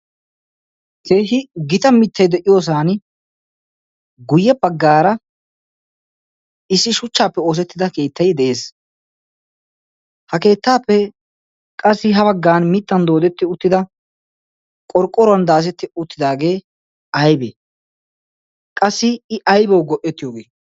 keehi gixa mittay de'iyoosan guyye paggaara issi shuchchaappe oosettida keettayi de'ees ha keettaappe qassi ha baggan mittan doodetti uttida qorqqoruwan daazetti uttidaagee aybee qassi i aybawu go''ettiyoogii